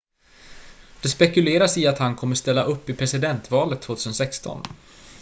det spekuleras i att han kommer ställa upp i presidentvalet 2016